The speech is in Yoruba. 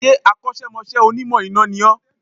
Ṣé Akọ́sẹ́mọsẹ́ Onímọ̀ iná ni ó